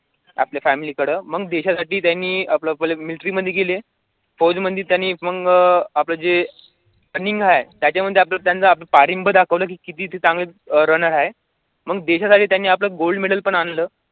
आपल्या family कडे मग देशासाठी त्यांनी military मध्ये गेले. फौजमध्ये त्यांनी मग आपले जे running आहे, त्याच्यामध्ये आपलं दाखवलं किती ते चांगले runner आहे. मग देशासाठी त्यांनी gold model पण आणलं आपल्या family कडं